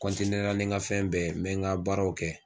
la ni n ka fɛn bɛɛ ye n bɛ n ka baaraw kɛ.